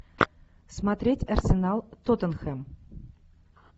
смотреть арсенал тоттенхэм